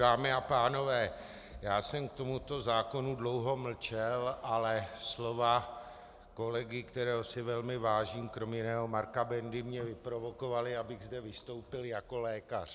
Dámy a pánové, já jsem k tomuto zákonu dlouho mlčel, ale slova kolegy, kterého si velmi vážím, kromě jiného, Marka Bendy, mě vyprovokovala, abych zde vystoupil jako lékař.